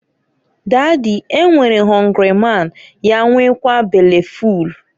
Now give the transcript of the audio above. "Dady, e nwere họngrị man ya nwekaa bele ful.